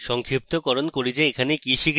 সংক্ষিপ্তকরণ করি যে এখানে আমরা শিখেছি